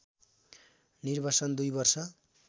निर्वासन २ वर्ष